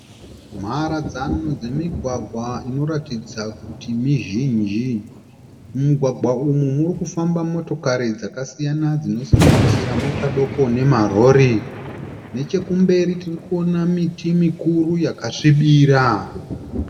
Mharadzano dzemigwagwa inoratidza kuti mizhinji. Mumigwagwa umu murikufamba motokari dzakasiyana dzinosanganisira mota diki nemarori. Nechekumberi tirikuona miti mikuru yakasvibira.